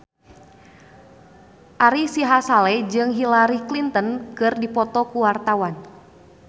Ari Sihasale jeung Hillary Clinton keur dipoto ku wartawan